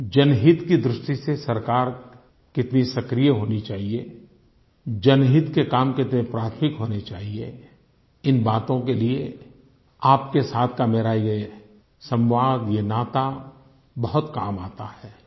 जनहित की दृष्टि से सरकार कितनी सक्रिय होनी चाहिए जनहित के काम कितने प्राथमिक होने चाहिए इन बातों के लिए आपके साथ का मेरा ये सम्वाद ये नाता बहुत काम आता है